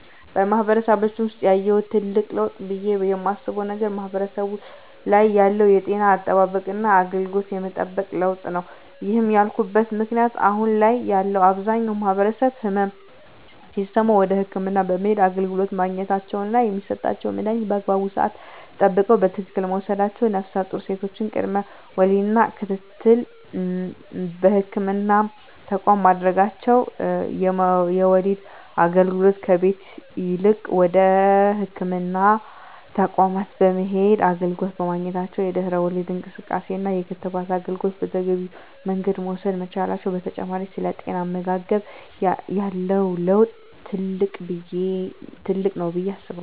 በማህበረሰባችን ውሰጥ ያየሁት ትልቅ ለውጥ ብየ የማስበው ነገር ማህበረሰቡ ላይ ያለው የጤና አጠባበቅና አገልግሎት የመጠቀም ለውጥ ነው። ይህን ያልኩበት ምክንያት አሁን ላይ ያለው አብዛኛው ማህበረሰብ ህመም ሲሰማው ወደ ህክምና በመሄድ አገልግሎት ማግኘታቸውና የሚሰጣቸውን መድሀኒት በአግባቡ ስዓት ጠብቀው በትክክል መውሰዳቸው ነፍሰጡር ሴቶች ቅድመ ወሊድ ክትትል በህክምና ተቋማት ማድረጋቸው የወሊድ አገልግሎት ከቤት ይልቅ ወደ ህክምና ተቋማት በመሄድ አገልግሎት በማግኘታቸው የድህረ ወሊድ እንክብካቤና የክትባት አገልግሎት በተገቢው መንገድ መውሰድ መቻላቸው በተጨማሪ ስለ ጤናማ አመጋገብ ያለው ለውጥ ትልቅ ነው ብየ አስባለሁ።